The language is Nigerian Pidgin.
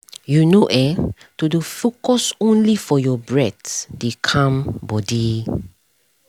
you know[um]to dey focus only for your breath dey calm body